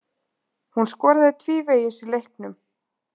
Hún skoraði tvívegis í leiknum.